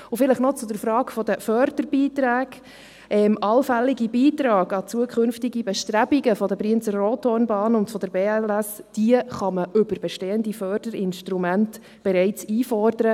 Und vielleicht noch zur Frage der Förderbeiträge: Allfällige Beiträge an zukünftige Bestrebungen der Brienz-Rothorn-Bahn und der BLS kann man über bestehende Förderinstrumente bereits einfordern.